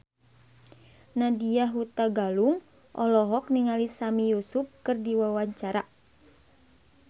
Nadya Hutagalung olohok ningali Sami Yusuf keur diwawancara